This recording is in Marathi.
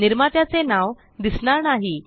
निर्मात्याचे नाव दिसणार नाही